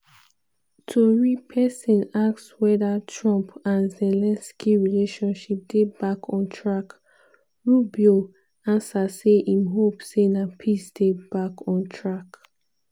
tori pesin ask weda trump and zelensky relationship dey "back on track" rubio ansa say im hope say na "peace" dey back on track.